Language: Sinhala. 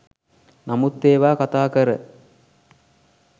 නමුත් ඒවා කතා කර